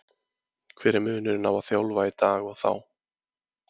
Hver er munurinn á að þjálfa í dag og þá?